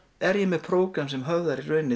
er ég með prógram sem höfðar